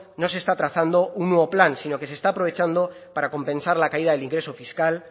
no se está trazando un nuevo plan sino que se está aprovechando para compensar la caída del ingreso fiscal